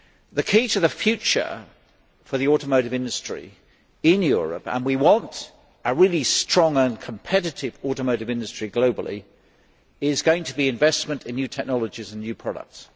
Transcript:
The key to the future for the automotive industry in Europe and we want a really strong and globally competitive automotive industry is going to be investment in new technologies and new products.